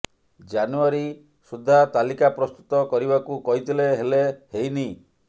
ଜାନୁଆରୀ ସୁଦ୍ଧା ତାଲିକା ପ୍ରସ୍ତୁତ କରିବାକୁ କହିଥିଲେ ହେଲେ ହେଇନି